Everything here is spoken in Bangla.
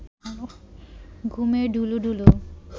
ঘুমে ঢুলুঢুলু